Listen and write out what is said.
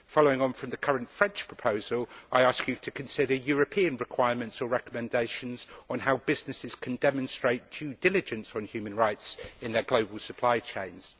Following on from the current French proposal, I ask her to consider European requirements or recommendations on how businesses can demonstrate due diligence on human rights in their global supply chains.